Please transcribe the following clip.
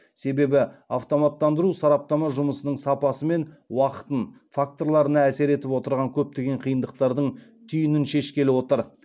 себебі автоматтандыру сараптама жұмысының сапасы мен уақытын факторларына әсер етіп отырған көптеген қиындықтардың түйінін шешкелі отыр